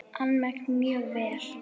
Almennt mjög vel.